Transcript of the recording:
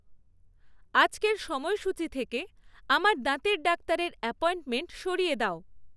আজকের সময়সূচী থেকে আমার দাঁতের ডাক্তারের অ্যাপয়েন্টমেন্ট সরিয়ে দাও